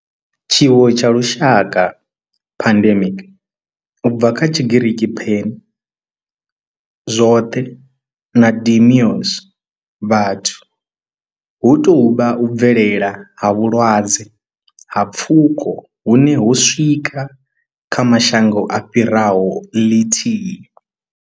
Tshiwo tsha lushaka pandemic, u bva kha Tshigiriki pan, zwoṱhe na demos, vhathu hu tou vha u bvelela ha vhulwadze ha pfuko hune ho swika kha mashango a fhiraho ḽithihi.